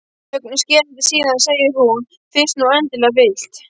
Þögnin er skerandi, síðan segir hún: Fyrst þú endilega vilt.